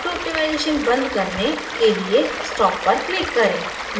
auto optimizationबंद करने के लिए stop पर click करें